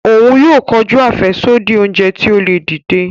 Òún yóò kọjú afẹsodi oúnjẹ ti o le dìde.